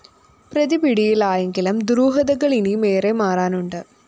പ്രതിപിടിയിലായെങ്കിലും ദുരൂഹതകള്‍ ഇനിയുമേറെ മാറാനുണ്ട്